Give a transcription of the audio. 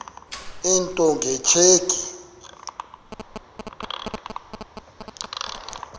into nge tsheki